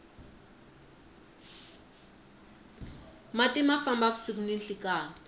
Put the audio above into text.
mati ma famba vusiku ni nhlekani